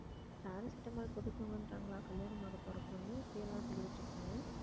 paracetamol போட்டு தூங்குங்கறாங்களா, கல்யாணம் ஆகப்போற பொண்ணு இப்படியெல்லாம் சொல்லிட்டிருக்கீங்க